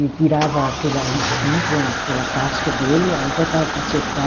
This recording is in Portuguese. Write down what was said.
E tirava aquela espinho com aquela casca dele, aí botava para secar.